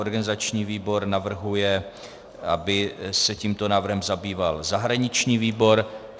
Organizační výbor navrhuje, aby se tímto návrhem zabýval zahraniční výbor.